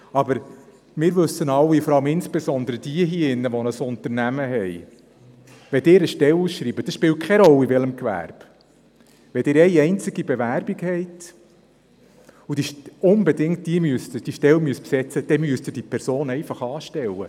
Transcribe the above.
Aber wir wissen alle, insbesondere jene, die ein Unternehmen haben: Wenn Sie eine Stelle ausschreiben – es spielt keine Rolle in welchem Gewerbe – und eine einzige Bewerbung haben, die Stelle aber unbedingt besetzen müssen, dann müssen Sie diese Person einfach einstellen.